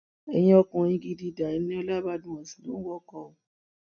ẹyin ọkùnrin gidi da eniola badmus lóun ń wọkọ o